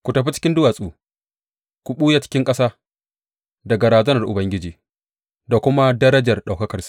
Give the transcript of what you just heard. Ku tafi cikin duwatsu, ku ɓuya cikin ƙasa daga razanar Ubangiji da kuma darajar ɗaukakarsa!